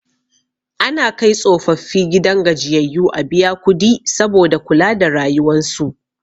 Ana kai tsofaffi gidan gajiyayyu a biya kudi saboda kula da rayuwan su